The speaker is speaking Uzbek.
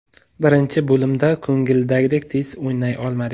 Birinchi bo‘limda ko‘ngildagidek tez o‘ynay olmadik.